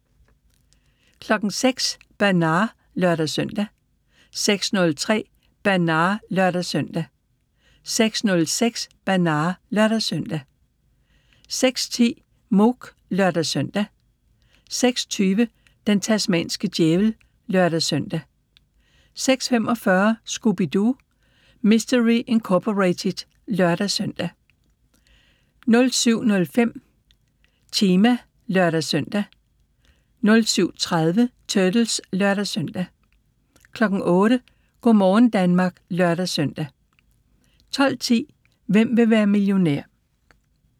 06:00: Bernard (lør-søn) 06:03: Bernard (lør-søn) 06:06: Bernard (lør-søn) 06:10: Mouk (lør-søn) 06:20: Den tasmanske djævel (lør-søn) 06:45: Scooby-Doo! Mystery Incorporated (lør-søn) 07:05: Chima (lør-søn) 07:30: Turtles (lør-søn) 08:00: Go' morgen Danmark (lør-søn) 12:10: Hvem vil være millionær?